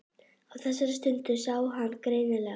Á þessari stundu sá hann greinilega.